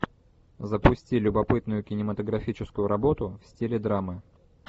запусти любопытную кинематографическую работу в стиле драмы